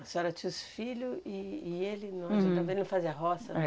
A senhora tinha os filhos e e ele também não fazia roça?